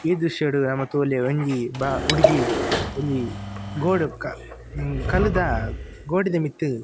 ಈ ದ್ರಶ್ಯಡ್ ನಮ ತೂವೊಲಿ ಒಂಜಿ ಬ ಹುಡ್ಗಿ ಒಂಜಿ ಗೋಡ್ ಕ ಅಹ್ ಕಲ್ಲುದ ಗೋಡೆದ ಮಿತ್ತ್ --